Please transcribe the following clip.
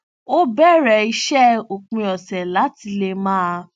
ó bẹrẹ iṣẹ òpin ọsẹ láti lè máa